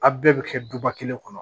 A bɛɛ bɛ kɛ duba kelen kɔnɔ